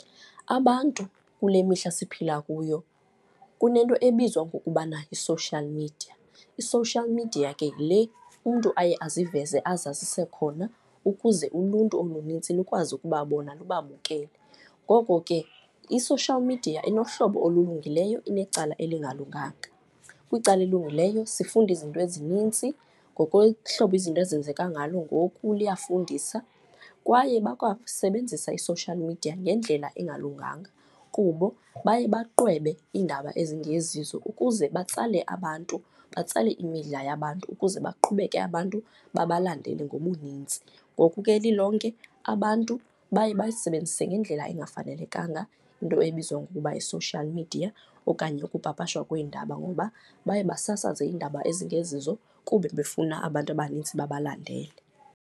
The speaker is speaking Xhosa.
Abantu kule mihla siphila kuyo kunento ebizwa ngokubana yi-social media. I-social media ke yile umntu aye aziveze, azazise khona ukuze uluntu olunintsi lukwazi ukubabona lubabukele. Ngoko ke i-social media inohlobo olulungileyo, inecala elingalunganga. Kwicala elilungileyo sifunda izinto ezinintsi ngokwehlobo izinto ezenzeka ngalo ngoku liyafundisa. Kwaye bakwasebenzisa i-social media ngendlela engalunganga kubo baye baqwebe iindaba ezingezizo ukuze batsale abantu, batsale imidla yabantu ukuze baqhubeke abantu babalandele ngobuninzi. Ngoku ke lilonke, abantu baye bayisebenzise ngendlela engafanelekanga into ebizwa ngokuba yi-social media okanye ukupapasha kweendaba, ngoba baye basasaze iindaba ezingezizo kube befuna abantu abanintsi babalandele.